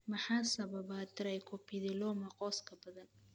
Maxaa sababa trichoepitheloma qoyska badan?